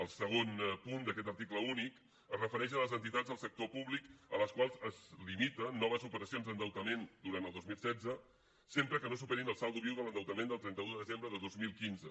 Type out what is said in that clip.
el segon punt d’aquest article únic es refereix a les entitats del sector públic a les quals es limiten noves operacions d’endeutament durant el dos mil setze sempre que no superin el saldo viu de l’endeutament del trenta un de desembre de dos mil quinze